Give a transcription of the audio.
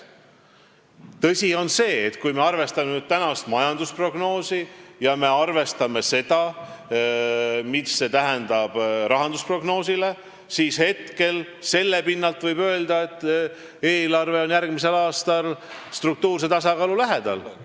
Tõsi on see, et kui me arvestame praegust majandusprognoosi ja seda, mis see tähendab rahandusprognoosile, siis võib selle pinnalt öelda, et eelarve on järgmisel aastal struktuurse tasakaalu lähedal.